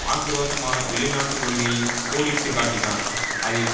ஆக்கிரோஷமான வெளிநாட்டு கொள்கையை கோடிட்டு காட்டினார் அதில்